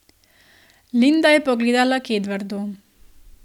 Linda je pogledala k Edvardu.